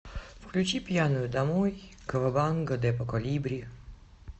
включи пьяную домой кавабанга депо колибри